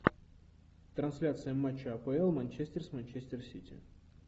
трансляция матча апл манчестер с манчестер сити